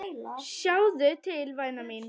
Sjáðu til væna mín.